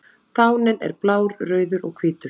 Fáninn er blár, rauður og hvítur.